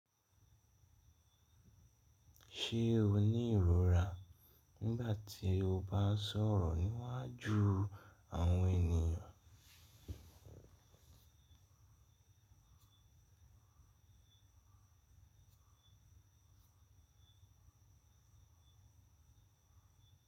Ṣe o ni irora nigbati o ba sọrọ niwaju awọn eniyan?